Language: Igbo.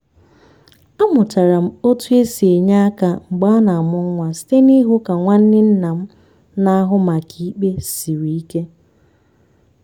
amụtara m otú e si enye aka mgbe a na-amụ nwa site n'ịhụ ka nwanne nna m na-ahụ maka ikpe siri ike.